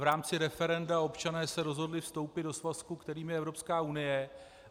v rámci referenda se občané rozhodli vstoupit do svazku, kterým je Evropská unie.